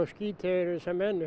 skít yfir þessa menn